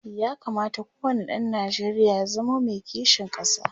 ya kamata ko wani ɗan Nijeriya ya zamo Mai kishin ƙasa